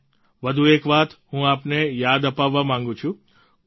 હા વધુ એક વાત હું આપને યાદ અપાવવા માંગુ છું